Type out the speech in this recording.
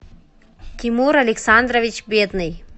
тимур александрович бедный